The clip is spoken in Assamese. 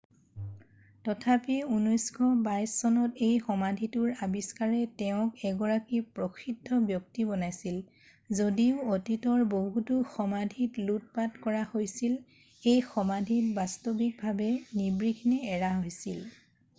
তথাপি 1922 চনত এই সমাধিটোৰ আৱিষ্কাৰে তেওঁক এগৰাকী প্ৰসিদ্ধ ব্যক্তি বনাইছিল যদিও অতীতৰ বহুতো সমাধিত লুটপাট কৰা হৈছিল এই সমাধিটো বাস্তৱিকভাৱে নিৰ্বিঘ্নে এৰা হৈছিল